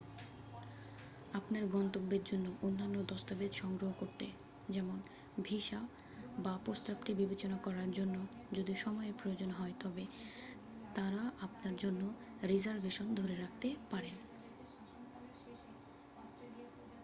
আপনার গন্তব্যর জন্য অন্যান্য দস্তাবেজ সংগ্রহ করতে যেমন: ভিসা বাপ্রস্তাবটি বিবেচনা করার জন্য যদি সময় প্রয়োজন হয় তবে তারা আপনার জন্য রিজার্ভেশন ধরে রাখতে পারেন